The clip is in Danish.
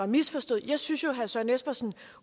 misforstået jeg synes jo herre søren espersen